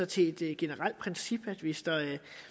til et generelt princip sådan at hvis der er